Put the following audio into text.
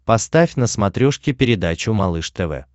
поставь на смотрешке передачу малыш тв